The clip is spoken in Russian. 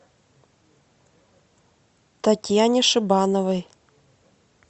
татьяне шибановой